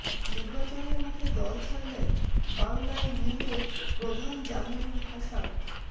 নির্বাচনের মুখে দল ছাড়লেন বাংলায় মিমের প্রধান জামিরুল হাসান